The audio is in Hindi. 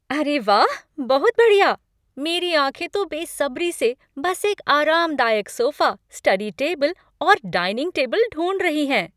अरे वाह, बहुत बढ़िया! मेरी आंखें तो बेसब्री से बस एक आरामदायक सोफा, स्टडी टेबल और डाइनिंग टेबल ढूंढ रही हैं।